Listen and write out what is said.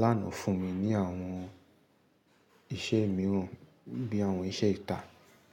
láànà fún mi ní àwọn iṣẹ́ mìíràn bí i àwọn iṣẹ́ ìtà.